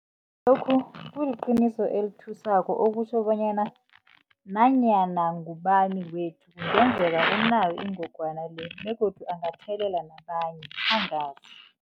Lokhu kuliqiniso elithusako okutjho bonyana nanyana ngubani wethu kungenzeka unayo ingogwana le begodu angathelela nabanye angazi.